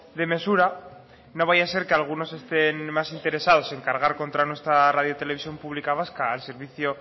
de mesura no vaya a ser que algunos estén más interesados en cargar contra nuestra radio televisión pública vasca al servicio